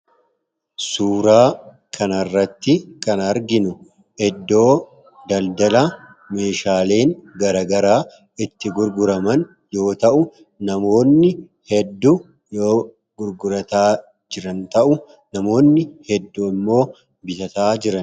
suuraa kana irratti kan arginu iddoo daldala meeshaaleen garagaraa itti gurguraman yoo ta'u namoonni hedduu yoo gurgurataa kan jiran ta'u namoonni hedduu ammoo bitataa jiru.